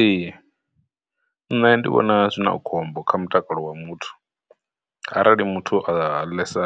Ee, nṋe ndi vhona zwi na khombo kha mutakalo wa muthu arali muthu a ḽesa